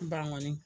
Ban kɔni